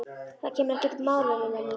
Það kemur ekki til mála, Lilla mín.